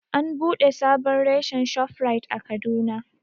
An buɗe sabon reshen Shoprite a Kaduna